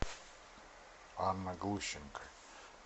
анна глущенко